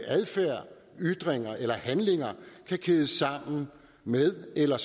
adfærd ytringer eller handlinger kan kædes sammen med eller